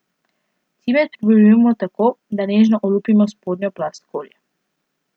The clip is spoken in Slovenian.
Cimet pridobivamo tako, da nežno olupimo spodnjo plast skorje.